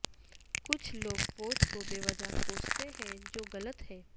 کچھ لوگ فوج کو بے وجہ کوستے ہے جو غلط ہے